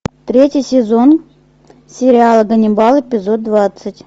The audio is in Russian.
третий сезон сериала ганнибал эпизод двадцать